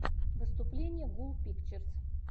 выступление гул пикчерз